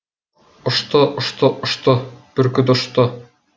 ұшты ұшты ұшты бүркіт ұшты